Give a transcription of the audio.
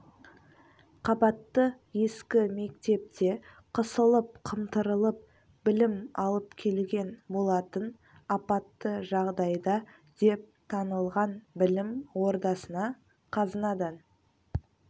қабатты ескі мектепте қысылып-қымтырылып білім алып келген болатын апатты жағдайда деп танылған білім ордасына қазынадан